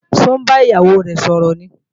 Ṣó ń bá ìyàwó rẹ̀ sọ̀rọ̀ ni?